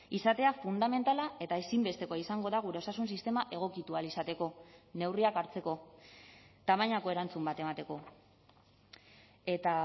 izatea fundamentala eta ezinbestekoa izango da gure osasun sistema egokitu ahal izateko neurriak hartzeko tamainako erantzun bat emateko eta